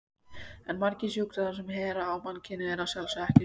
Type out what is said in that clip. En margir sjúkdómar sem herja á mannkynið eru að sjálfsögðu ekki smitsjúkdómar.